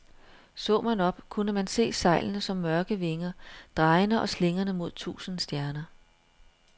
Så man op, kunne man se sejlene som mørke vinger, drejende og slingrende mod tusinde stjerner.